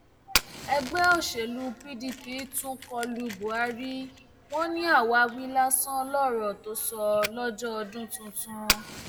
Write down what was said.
ẹgbẹ òsèlú pdp tún kọ lu buhari wọn ní àwáwí lásán lọrọ tó sọ lọjọ ọdún tuntun